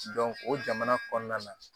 o jamana kɔnɔna na